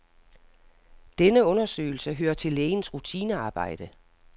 Denne undersøgelse hører til lægens rutinearbejde.